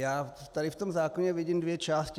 Já tady v tom zákoně vidím dvě části.